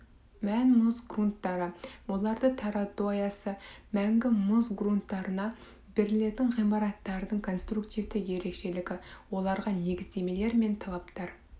мән мұз грунттары оларды тарату аясы мәңгі мұз грунттарына берілетін ғимараттардың конструктивті ерекшелігі оларға негіздемелер мен талаптар